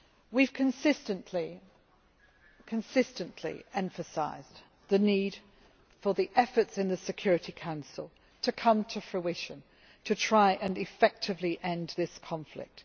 We have consistently emphasised the need for the efforts in the Security Council to come to fruition, to try to effectively end this conflict.